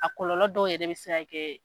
A kɔlɔlɔ dɔw yɛrɛ bɛ se ka kɛ.